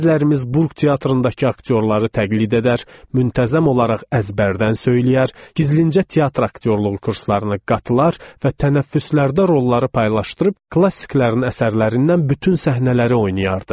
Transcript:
Bəzilərimiz Burq teatrındakı aktyorları təqlid edər, müntəzəm olaraq əzbərdən söyləyər, gizlincə teatr aktyorluğu kurslarına qatılar və tənəffüslərdə rolları paylaşdırıb klassiklərin əsərlərindən bütün səhnələri oynayardı.